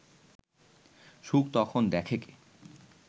সুখ তখন দেখে কে